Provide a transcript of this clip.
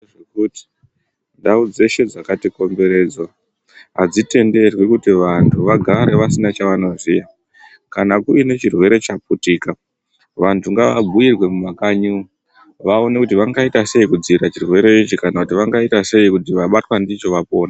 Kutii ndau dzeshe dzakat ikomberedza hadzitenderwi kuti vantu vagare pasina chavanozuya kuti kune chirwere chaputika vantu ngava bhuyirwe mumakanyimo vaone kuti vangaitasei kudzivirira chirwere ichi kana kuti vangaita sei kuti vabatwa ndicho vapone.